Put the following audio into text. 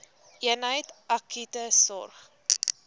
eenheid akute sorg